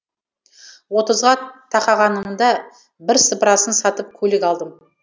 отызға тақағанымда бірсыпырасын сатып көлік алдым